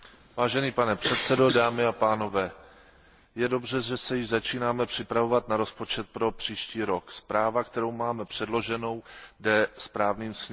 Pane předsedající, je dobře, že se již začínáme připravovat na rozpočet pro příští rok. Zpráva, kterou máme předloženou, jde správným směrem.